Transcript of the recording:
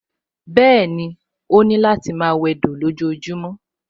Bẹ́ẹ̀ni, ó láti máa wẹdò lójojúmọ́